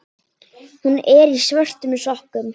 Hún er í svörtum sokkum.